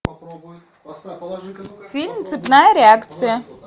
фильм цепная реакция